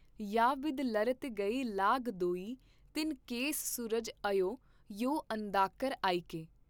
ਯਾ ਬਿਧ ਲਰਤ ਗਏ ਲਾਗ ਦੋਈ ਤੀਨ ਕੇਸ ਸੂਰਜ ਅਯੋ ਯੋ ਅੰਧਕਾਰ ਆਇਕੇ '।